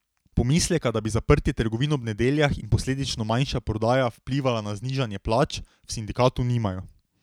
Pomisleka, da bi zaprtje trgovin ob nedeljah in posledično manjša prodaja vplivala na znižanje plač, v sindikatu nimajo.